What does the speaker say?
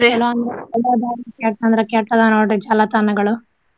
ಏನೊ ಅನ್ಬೇಕ ಕೆಟ್ಟ ಅಂದ್ರ ಕೆಟ್ಟ ಅದಾವ ನೋಡ್ರಿ ಜಾಲತಾಣಗಳು.